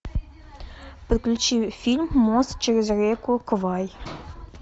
подключи фильм мост через реку квай